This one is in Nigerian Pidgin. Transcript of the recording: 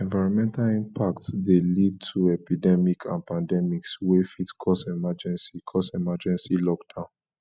enironmental impacts de lead to epidemic and pandemics wey fit cause emergency cause emergency lockdown